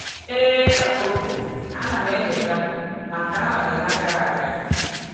‘Ee,’ ka o kwuru, ‘A na m echeta, ma nke ahụ dị na gara aga.’